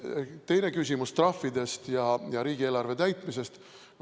Teine küsimus oli trahvide ja riigieelarve täitumise kohta.